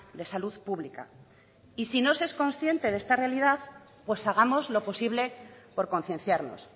de salud pública y si no se es consciente de esta realidad pues hagamos lo posible por concienciarnos